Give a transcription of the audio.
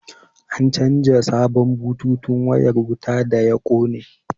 An canja sabon bututun wayar wuta da ya kone